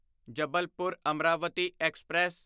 Jabalpur Amravati express